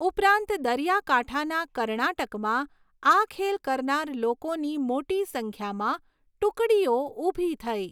ઉપરાંત, દરિયાકાંઠાના કર્ણાટકમાં આ ખેલ કરનાર લોકોની મોટી સંખ્યામાં ટુકડીઓ ઊભી થઈ.